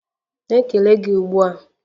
Na-ekele gị ugbu a!